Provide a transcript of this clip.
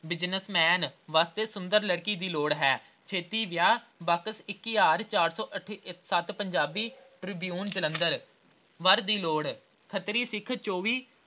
business ਵਾਸਤੇ ਸੁੰਦਰ ਲੜਕੀ ਦੀ ਲੋੜ ਹੈ ਛੇਤੀ ਵਿਆਹ ਬਾਕਸ ਇੱਕ ਹਜ਼ਾਰ ਚਾਰ ਸੌ ਅਠ ਅਹ ਸੱਤ ਪੰਜਾਬੀ ਟ੍ਰਿਬਿਊਨ ਜਲੰਧਰ। ਵਰ ਦੀ ਲੋੜ ਖੱਤਰੀ ਸਿੱਖ ਚੌਵੀ